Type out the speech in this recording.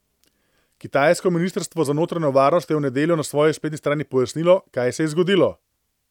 Kitajsko ministrstvo za notranjo varnost je v nedeljo na svoji spletni strani pojasnilo, kaj se je zgodilo.